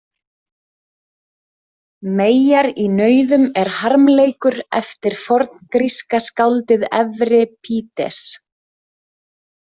Meyjar í nauðum er harmleikur eftir forngríska skáldið Evripídes.